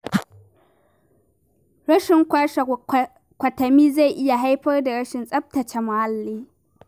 Rashin kwashe kwatami zai iya haifar da rashin tsabtataccen muhalli.